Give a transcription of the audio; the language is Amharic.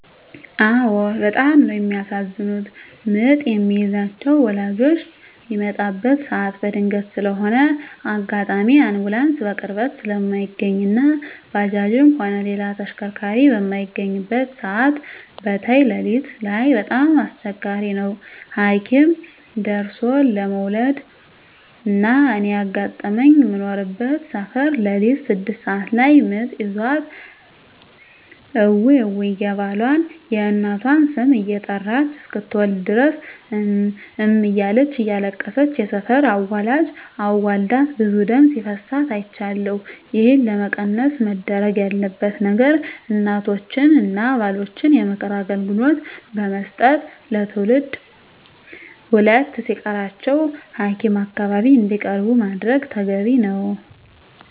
አዎ በጣም ነው የሚያሳዝኑት ምጥ የሚይዛቸው ወላጆች ሚመጣበት ሰዓት በድንገት ስለሆነ አጋጣሚ አንቡላንስ በቅርበት ስለማይገኝ እና ባጃጅም ሆነ ሌላ ተሽከርካሪ በማይገኝበት ሰዓት በተይ ለሊት ላይ በጣም አስቸጋሪ ነው ሀኪም ደርሦለ መዉለድ። እና እኔ ያጋጠመኝ ምኖርበት ሰፈር ለሊት ስድስት ሰዓት ላይ ምጥ ይዟት እውይ እውይ የባሏን፣ የእናቷን ስም እየጠራች እስክትወልድ ድረስ እም እም እያለች እያለቀሰች የሰፈር አዋላጅ አዋልዳት ብዙ ደም ሲፈሳት አይቻለሁ። ይህን ለመቀነስ መደረግ ያለበት ነገር እናቶችን እና ባሎችን የምክር አገልግሎት ብመስጠት ለትውልድ ሁለት ሲቀራቸው ሀኪም አካባቢ እንዲቀርቡ ማድረግ ተገቢ ነው።